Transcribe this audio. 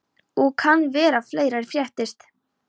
Og kann vera að fleira fréttist.